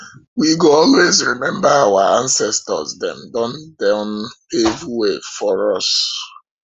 we go always remember our ancestors dem don don pave way for us